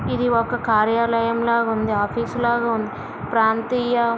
ఇది ఒక కార్యాలయంలా ఉంది. ఆఫీసు లాగా ఉంది ప్రాంతీయ --